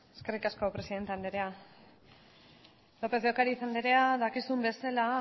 eskerrik asko presidente anderea lópez de ocariz anderea dakizun bezala